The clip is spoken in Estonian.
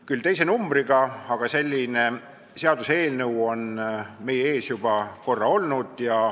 Küll teise numbriga, aga selline seaduseelnõu on meie ees juba korra olnud.